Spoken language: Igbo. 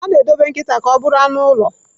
A na-edobe nkịta ka ọ bụrụ anụ ụlọ.